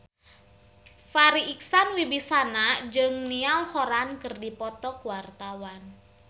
Farri Icksan Wibisana jeung Niall Horran keur dipoto ku wartawan